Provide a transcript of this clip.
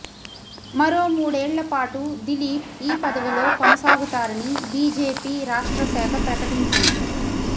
మరో మూడేళ్ల పాటు దిలీప్ ఈ పదవిలో కొనసాగుతారని బీజేపీ రాష్ట్ర శాఖ ప్రకటించింది